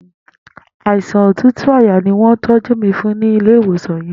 Àisán ótútú àyá ni wọn tọ̀jù mi fùn ni ilé iwósán yèn